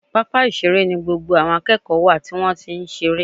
Pápá ìṣeré ni gbogbo àwọn akẹ́kọ̀ọ́ wà tí wọ́n ti ń ṣeré